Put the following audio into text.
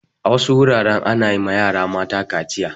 A wasu wuraren ana ma yara mata kaciya.